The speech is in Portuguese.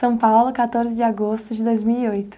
São Paulo, quatorze de agosto de dois mil e oito.